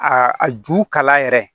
Aa a ju kala yɛrɛ